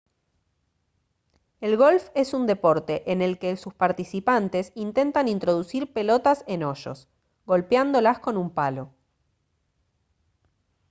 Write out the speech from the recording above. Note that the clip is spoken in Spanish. el golf es un deporte en el que sus participantes intentan introducir pelotas en hoyos golpeándolas con un palo